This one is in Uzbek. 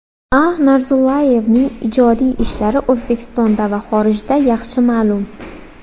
A. Narzullayevning ijodiy ishlari O‘zbekistonda va xorijda yaxshi ma’lum.